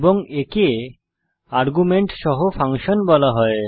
এবং একে আর্গুমেন্ট সহ ফাংশন বলা হয়